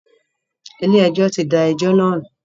Ilé ẹjọ́ tí da ẹjọ́ náà nù.